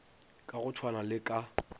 ka go tshwana le ka